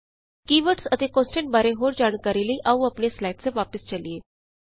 ਕੀ words ਅਤੇ constant ਬਾਰੇ ਹੋਰ ਜਾਣਕਾਰੀ ਲਈ ਆਉ ਆਪਣੀਆਂ ਸਲਾਈਡਸ ਤੇ ਵਾਪਸ ਚਲੀਏ